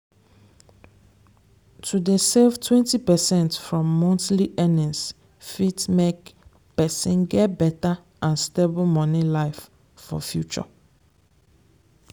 to dey save twenty percent from monthly earnings fit make person get better and stable money life for future.